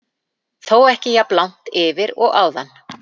Þó ekki jafn langt yfir og áðan.